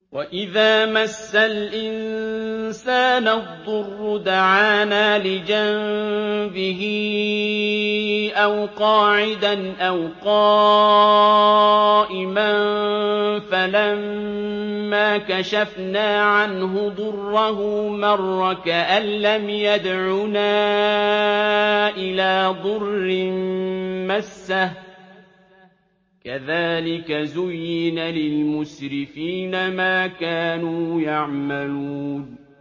وَإِذَا مَسَّ الْإِنسَانَ الضُّرُّ دَعَانَا لِجَنبِهِ أَوْ قَاعِدًا أَوْ قَائِمًا فَلَمَّا كَشَفْنَا عَنْهُ ضُرَّهُ مَرَّ كَأَن لَّمْ يَدْعُنَا إِلَىٰ ضُرٍّ مَّسَّهُ ۚ كَذَٰلِكَ زُيِّنَ لِلْمُسْرِفِينَ مَا كَانُوا يَعْمَلُونَ